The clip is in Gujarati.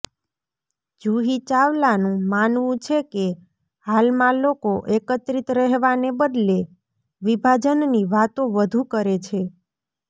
જુહી ચાવલાનું માનવું છે કે હાલમાં લોકો એકત્રિત રહેવાને બદલે વિભાજનની વાતો વધુ કરે છે